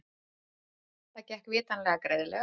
Það gekk vitanlega greiðlega.